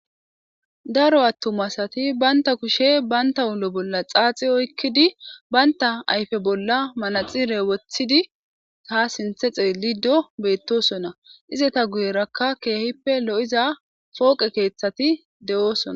Daro attumasati baynta kushe baynta hulo bolla xaaxi oykkidi baynta ayfe bolla manaxire wothidi taa sinthe xeelido beettosona ize ta guyerakka keehippe lo7iza fooqe keeththati de7oosona.